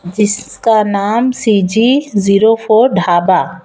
जिसका नाम CG zero four dhaba--